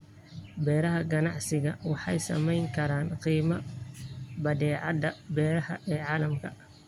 Beeraha ganacsiga waxay saamayn karaan qiimaha badeecadaha beeraha ee caalamka.